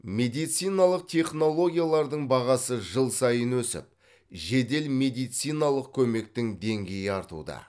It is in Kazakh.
медициналық технологиялардың бағасы жыл сайын өсіп жедел медициналық көмектің деңгейі артуда